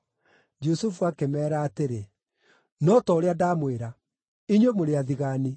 Jusufu akĩmeera atĩrĩ, “No ta ũrĩa ndamwĩra: Inyuĩ mũrĩ athigaani!